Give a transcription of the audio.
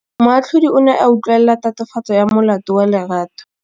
Moatlhodi o ne a utlwelela tatofatsô ya molato wa Lerato.